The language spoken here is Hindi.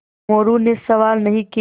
मोरू ने सवाल नहीं किये